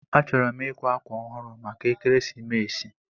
Achọrọ m ịkwa akwa ọhụrụ maka ekeresimesi.